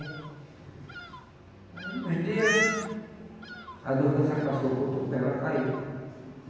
Aí, uns dias, a dormência passou para o outro pé, ela caiu.